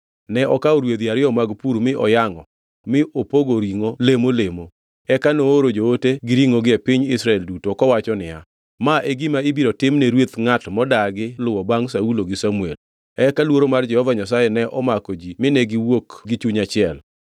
Ne okawo rwedhi ariyo mag pur mi oyangʼo mi opogo ringʼo lemo lemo, eka nooro joote gi ringʼogi e piny Israel duto, kowacho niya, “Ma e gima ibiro timne rweth ngʼat modagi luwo bangʼ Saulo gi Samuel.” Eka luoro mar Jehova Nyasaye ne omako ji mine giwuok gi chuny achiel.